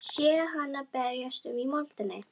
Sé hana berjast um í moldinni.